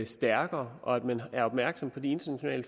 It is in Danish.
stærkere og at man er opmærksom på det internationale